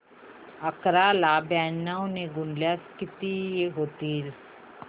अकरा ला ब्याण्णव ने गुणल्यास किती होतील